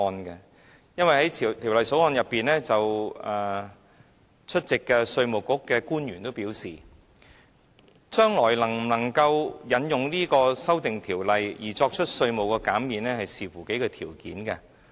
出席審議《條例草案》會議的稅務局官員均表示，將來能否引用這項法例作出稅務寬減要視乎數項條件。